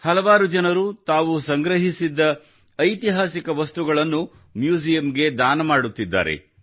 ಹಲವರು ತಾವು ಸಂಗ್ರಹಿಸಿದ್ದ ಐತಿಹಾಸಿಕ ವಸ್ತುಗಳನ್ನು ಮ್ಯೂಸಿಯಂಗೆ ದಾನ ನೀಡುತ್ತಿದ್ದಾರೆ